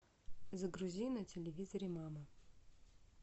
загрузи на телевизоре мама